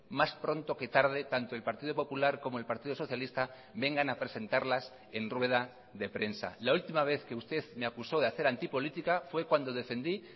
más pronto que tarde tanto el partido popular como el partido socialista vengan a presentarlas en rueda de prensa la última vez que usted me acusó de hacer antipolítica fue cuando defendí